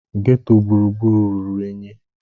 Geto gburugburu ruru unyi